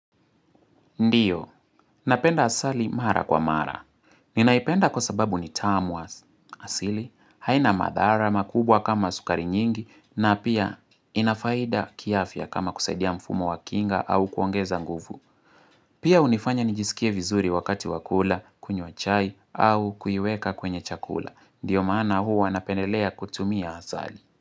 Ndio, napenda asali mara kwa mara. Ninaipenda kwa sababu ni tamu as asili, haina madhara makubwa kama sukari nyingi na pia inafaida kiafya kama kusaidia mfumo wa kinga au kuongeza nguvu. Pia unifanya nijisikie vizuri wakati wakula, kunywa chai au kuiweka kwenye chakula. Ndio maana hua napendelea kutumia asali.